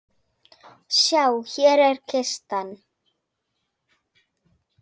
Sjá, hér er kistan.